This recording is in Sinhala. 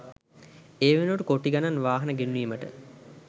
ඒ වෙනුවට කොටි ගණන් වාහන ගෙන්වීමට